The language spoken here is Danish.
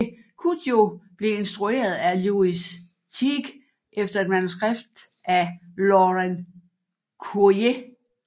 Cujo blev instrueret af Lewis Teague efter et manuskript af Lauren Currier